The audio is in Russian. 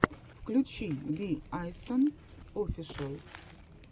включи би айстон офишэл